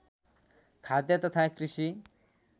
खाद्य तथा कृषि